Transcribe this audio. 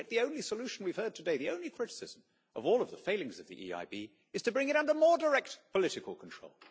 Yet the only solution we have heard today the only criticism of all the failings of the EIB is to bring it under more direct political control.